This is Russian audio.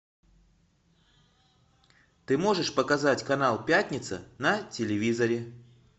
ты можешь показать канал пятница на телевизоре